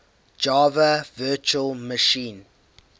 java virtual machine